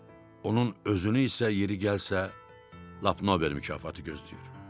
Onun özünü isə yeri gəlsə lap Nobel mükafatı gözləyir.